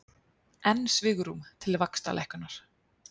Enn svigrúm til vaxtalækkunar